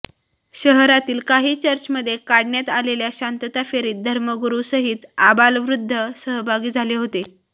शहरातील काही चर्चमध्ये काढण्यात आलेल्या शांतता फेरीत धर्मगुरुसहित आबालवृद्ध सहभागी झाले होते